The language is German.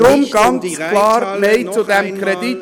Es geht nicht um die Reithalle – noch einmal!